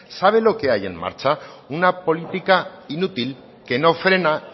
saben lo que hay en marcha una política inútil que no frena